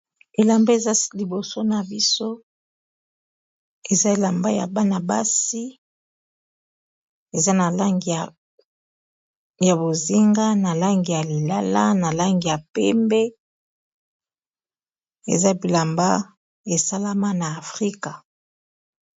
Elamba eza liboso na biso eza elamba ya bana-basi eza na langi ya bozinga na langi ya Lilala na langi ya pembe eza bilamba esalama na afrika.